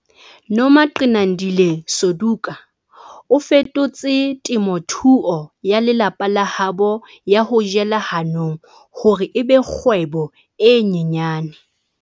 Nomagcinandile Suduka o fetotse temothuo ya lelapa la habo ya ho jela hanong hore e be kgwebo e nyenyane.